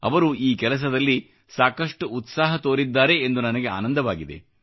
ಅವರು ಈ ಕೆಲಸದಲ್ಲಿ ಸಾಕಷ್ಟು ಉತ್ಸಾಹ ತೋರಿದ್ದಾರೆ ಎಂದು ನನಗೆ ಆನಂದವಾಗಿದೆ